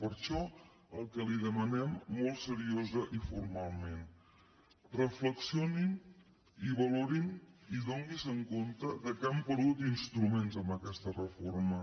per això el que li demanem molt seriosament i formalment reflexionin i valorin i adonin se que han perdut instruments amb aquesta reforma